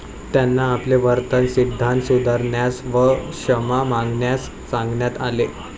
त्यांना आपले वर्तन सिद्धांत सुधारण्यास व क्षमा मागण्यास सांगण्यात आले.